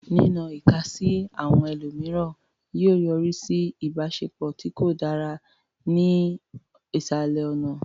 Nínọ ìka sí àwọn ẹlòmíràn yóò yọrí sí ìbáṣepọ̀ tí kò dára ní ìsàlẹ̀ ọ̀nà.